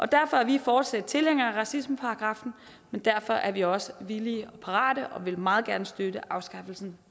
derfor er vi fortsat tilhængere af racismeparagraffen men derfor er vi også villige og parate og vil meget gerne støtte afskaffelsen